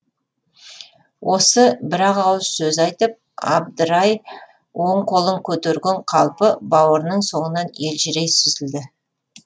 осы бір ақ ауыз сөз айтып абдырай оң қолын көтерген қалпы бауырының соңынан елжірей сүзілді